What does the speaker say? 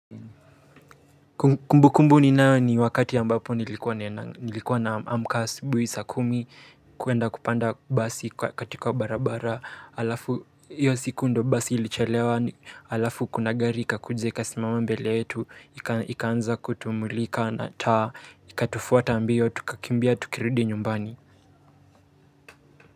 Kumbukumbu ninayo ni wakati ambapo nilikuwa naamka asubuhi saa kumi kuenda kupanda basi katika barabara alafu hiyo siku ndio basi ilichelewa alafu kuna gari ikakuja ikasimama mbele yetu ikaanza kutumulika na taa ikatufuata mbio tukakimbia tukirudi nyumbani.